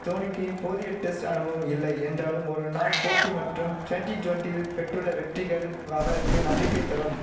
தோனிக்கு போதிய டெஸ்ட் அனுபவம் இல்லை என்றாலும் ஒரு நாள் போட்டி மற்றும் டொன்டி டொன்டில் பெற்றுள்ள வெற்றிகள் அவருக்கு நம்பிக்கை தரும்